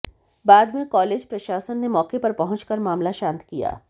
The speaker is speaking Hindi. बाद में कॉलेज प्रशासन ने मौके पर पहुंचकर मामला शांत किया